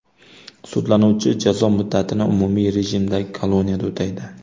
Sudlanuvchi jazo muddatini umumiy rejimdagi koloniyada o‘taydi.